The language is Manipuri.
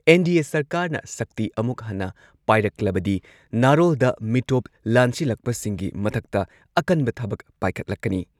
ꯑꯦꯟ.ꯗꯤ.ꯑꯦ ꯁꯔꯀꯥꯔꯅ ꯁꯛꯇꯤ ꯑꯃꯨꯛ ꯍꯟꯅ ꯄꯥꯏꯔꯛꯂꯕꯗꯤ ꯅꯥꯔꯣꯜꯗ ꯃꯤꯇꯣꯞ ꯂꯥꯟꯁꯤꯜꯂꯛꯄꯁꯤꯡꯒꯤ ꯃꯊꯛꯇ ꯑꯀꯟꯕ ꯊꯕꯛ ꯄꯥꯏꯈꯠꯂꯛꯀꯅꯤ꯫